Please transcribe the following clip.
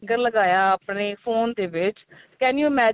tracker ਲਗਾਇਆ ਆਪਣੇ phone ਦੇ ਵਿੱਚ can you imagine